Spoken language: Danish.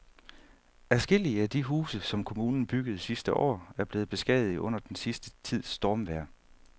Adskillige af de huse, som kommunen byggede sidste år, er blevet beskadiget under den sidste tids stormvejr.